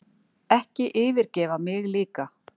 Ekki yfirgefa mig líka.